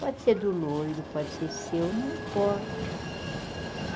Pode ser do louro, pode ser seu, não importa.